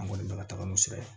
An kɔni bɛ ka taga n'o sira ye